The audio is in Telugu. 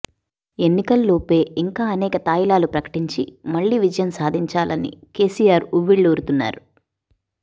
ఎన్నికల్లోపే ఇంకా అనేక తాయిలాలు ప్రకటించి మళ్లీ విజయం సాధించాలని కేసీఆర్ ఉవ్విళ్లూరుతున్నారు